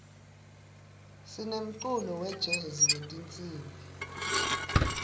sinemculo wejezi wetinsimbi